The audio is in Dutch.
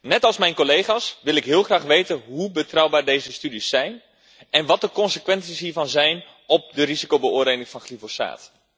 Net als mijn collega's wil ik heel graag weten hoe betrouwbaar deze studies zijn en wat de consequenties hiervan zijn voor de risicobeoordeling van glyfosaat.